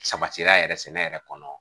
Sabatira yɛrɛ sɛnɛ yɛrɛ kɔnɔ